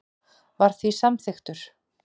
var því samþykkur.